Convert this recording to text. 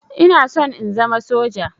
Ina son in zama soja.